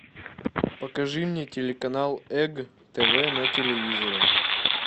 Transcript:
покажи мне телеканал эг тв на телевизоре